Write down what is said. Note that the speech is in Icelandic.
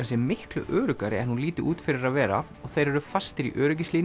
sé miklu öruggari en hún líti út fyrir að vera og þeir eru fastir í